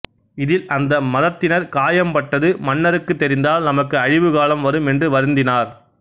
இதில் அந்த மதத்தினர் காயம் பட்டது மன்னருக்குத் தெரிந்தால் நமக்கு அழிவு காலம் வரும் என்று வருந்தினார்